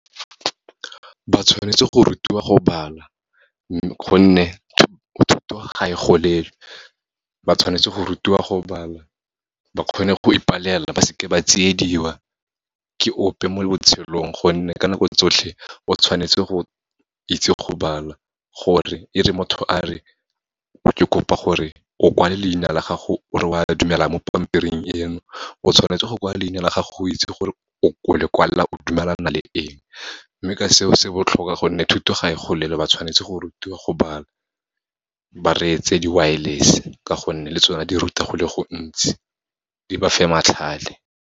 Ba tshwanetse go rutiwa go bala, gonne thuto ga e golelwe. Ba tshwanetse go rutiwa go bala, ba kgone go ipalela, ba seke ba tsiediwa ke ope mo botshelong, gonne ka nako tsotlhe o tshwanetse go itse go bala, gore e re motho a re, ke kopa gore o kwala leina la gago, o re oa dumela mo pampiring eno. O tshwanetse go kwa leina la gago o itse gore o le kwala o dumelana le eng. Mme ka seo, se botlhokwa gonne thuto ga e golelwe, ba tshwanetse go rutiwa go bala, ba retse di-wireless-e ka gonne le tsone di ruta go le gontsi, di ba fe matlhale.